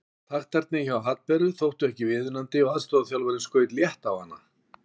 Taktarnir hjá Hallberu þóttu ekki viðunandi og aðstoðarþjálfarinn skaut létt á hana.